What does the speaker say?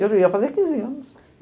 Eu já ia fazer quinze anos.